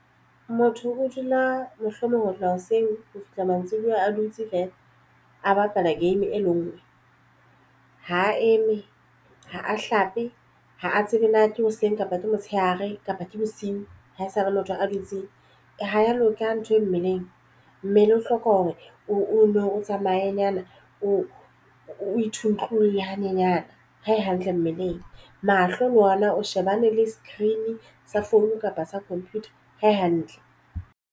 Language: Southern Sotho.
Motho o dula mohlomong ho tloha hoseng ho fihla mantsibuya a dutse feela a bapala game e le ngwe ha a eme ha a hlape ha a tsebe na ke hoseng kapa motshehare kapa ke bosiu. Ha esale motho a dutse ha ya loka ntho e mmeleng mmele o hloka hore o no o tsamayenyana o o ithute ntlung hanyenyana ha e hantle mmeleng. Mahlo le ona a shebane le screen sa phone kapa sa computer hae hantle.